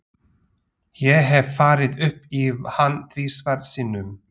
Ég hef farið upp í hann tvisvar sinnum.